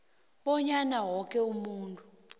bonyana woke umuntu